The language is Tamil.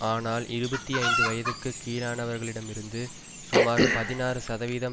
ஆனால் இருபத்தி ஐந்து வயதுக்கு கீழானவர்களிடமிருந்து சுமார் பதினாறு சதவீம்